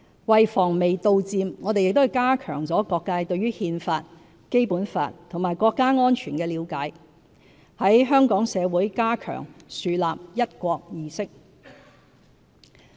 為防微杜漸，我們亦加強了各界對憲法、《基本法》和國家安全的了解，在香港社會加強樹立"一國"意識。